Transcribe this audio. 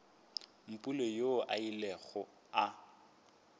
mpule yoo a ilego a